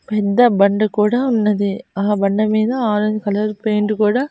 పెద్ద బండ కూడా ఉన్నది ఆ బండ మీద ఆరెంజ్ కలర్ పెయింట్ కూడా --